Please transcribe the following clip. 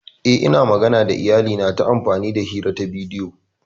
Yes, Ina magana da iyalina ta amfani hira ta bidiyo.